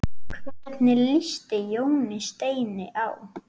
Hvernig líst Jóni Steini á?